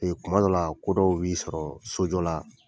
kuma dɔw la ko dɔ b'i sɔrɔ sojɔ la